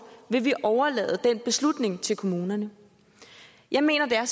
vil vi overlade den beslutning til kommunerne jeg mener at